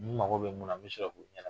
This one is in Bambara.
N mago bɛ mun na n bi sɔrɔ k'o ɲɛnabɔ.